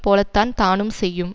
போலத்தான் தானும் செய்யும்